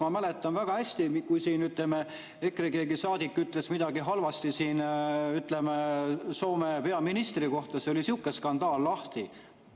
Ma mäletan väga hästi, kui siin keegi EKRE saadik ütles midagi halvasti Soome peaministri kohta ja siis oli sihuke skandaal lahti.